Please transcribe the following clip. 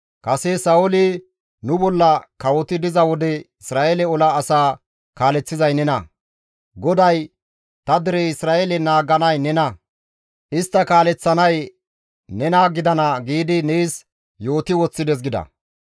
Kase Sa7ooli nu bolla kawoti diza wode Isra7eele ola asaa kaaleththizay nena; GODAY, ‹Ta dere Isra7eele naaganay nena; istta kaaleththanay nena gidana› giidi nees yooti woththides» gida.